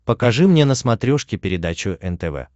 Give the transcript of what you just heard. покажи мне на смотрешке передачу нтв